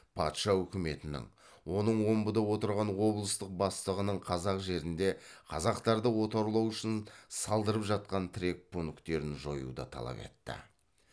патша үкіметінің оның омбыда отырған облыстық бастығының қазақ жерінде қазақтарды отарлау үшін салдырып жатқан тірек пункттерін жоюды талап етті